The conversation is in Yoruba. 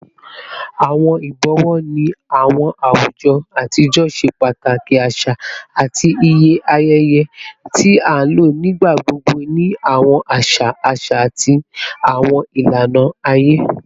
Awọn ibọwọ ni awọn awujọ atijọ ṣe pataki aṣa ati iye ayẹyẹ, ti a lo nigbagbogbo ni awọn aṣa aṣa ati awọn ilana aye